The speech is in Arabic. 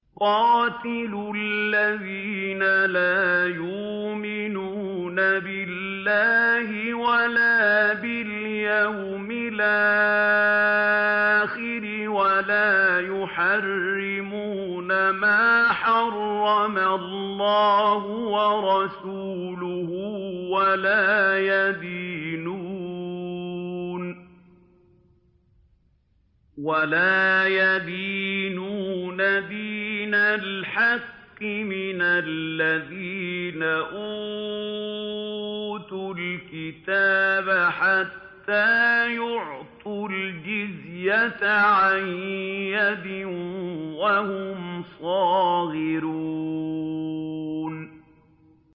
قَاتِلُوا الَّذِينَ لَا يُؤْمِنُونَ بِاللَّهِ وَلَا بِالْيَوْمِ الْآخِرِ وَلَا يُحَرِّمُونَ مَا حَرَّمَ اللَّهُ وَرَسُولُهُ وَلَا يَدِينُونَ دِينَ الْحَقِّ مِنَ الَّذِينَ أُوتُوا الْكِتَابَ حَتَّىٰ يُعْطُوا الْجِزْيَةَ عَن يَدٍ وَهُمْ صَاغِرُونَ